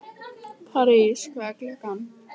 París, hvað er klukkan?